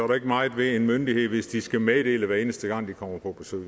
der ikke meget ved en myndighed hvis de skal meddele det hver eneste gang de kommer på besøg